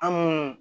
An